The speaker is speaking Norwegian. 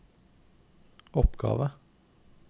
oppgave